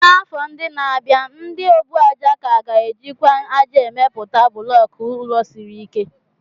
n'afọ ndị na-abịa, ndị ọbụàjà ka ga-ejikwa ájá emepụta bulọku ụlọ siri ike.